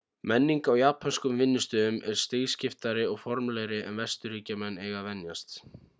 menning á japönskum vinnustöðum er stigskiptari og formlegri en vesturríkjamenn eiga að venjast